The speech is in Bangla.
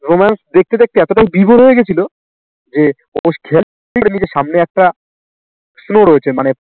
romance দেখতে দেখতে এতটাই দৃঢ় হয়ে গেছিল যে ওর খেয়াল করেনি নিজের সামনে একটা snow রয়েছে মানে